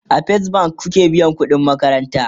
a first bank kuke biyan ƙuɗin makaranta?